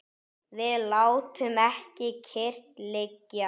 Við látum ekki kyrrt liggja.